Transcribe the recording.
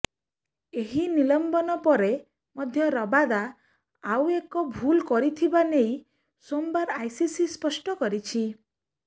ଏହି ନିଲମ୍ବନ ପରେ ମଧ୍ୟ ରବାଦା ଆଉ ଏକ ଭୁଲ କରିଥିବା ନେଇ ସୋମବାର ଆଇସିସି ସ୍ପଷ୍ଟ କରିଛି